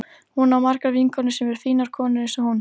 Hún á margar vinkonur sem eru fínar konur eins og hún.